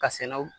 Ka sɛnɛw